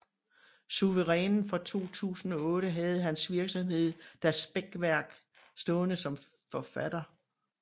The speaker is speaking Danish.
Suverænen fra 2008 havde hans virksomhed Das Beckwerk stående som forfatter